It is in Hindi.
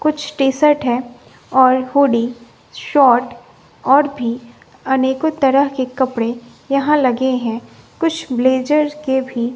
कुछ टी सट है और हुडी शॉर्ट और भी अनेकों तरह के कपड़े यहां लगे हैं कुछ ब्लेज़र के भी --